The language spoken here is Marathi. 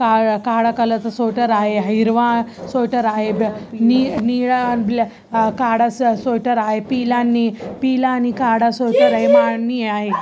काळा काळा कलर च स्वेटर आहे हिरवा स्वेटर आहे नि निळा ब्ल काळा स्वेटर आहे पिला नि पिला आणि काळ स्वेटर आहे.